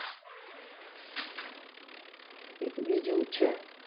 એક બીજું છે.